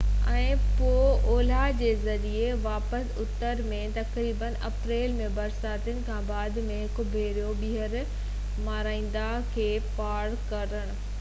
۽ پوء اولهه جي ذريعي واپس اتر ۾ تقريبن اپريل ۾ برساتن کان بعد ۾ هڪ ڀيرو ٻيهر مارا ندي کي پار ڪرڻ